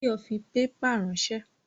Báyọ̀ fi pépà ránsẹ́